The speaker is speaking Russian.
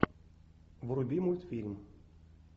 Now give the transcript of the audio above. вруби мультфильм